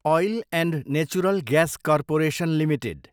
oil and natural gas corporation limited